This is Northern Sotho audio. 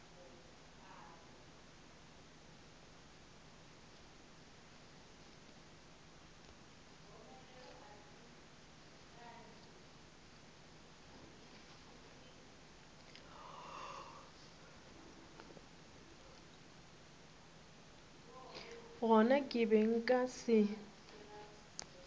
gona ke be nka se